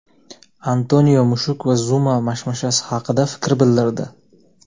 Antonio mushuk va Zuma mashmashasi haqida fikr bildirdi.